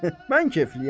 Mən keyfliyəm?